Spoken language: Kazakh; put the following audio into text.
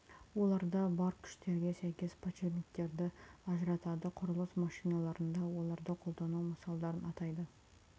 оларда бар күштерге сәйкес подшипниктерді ажыратады құрылыс машиналарында оларды қолдану мысалдарын атайды